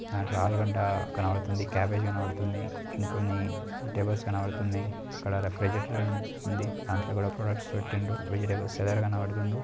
దాంట్లో ఆలు గడ్డ కనబడుతుంది కాబేజీ కనబడుతుంది ఇంకొన్నివిజిటేబుల్ కనబడుతున్నాయి దాంట్లో కూడా ప్రొడక్ట్స్---